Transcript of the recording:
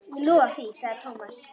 Ég lofa því sagði Thomas.